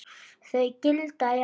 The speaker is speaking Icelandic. Þau gilda í ár.